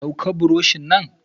Dauka buroshi nan!